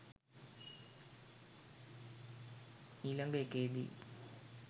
ඊලග එකේදී